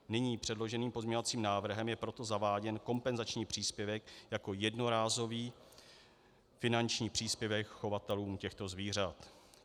Nyní předloženým pozměňovacím návrhem je proto zaváděn kompenzační příspěvek jako jednorázový finanční příspěvek chovatelům těchto zvířat.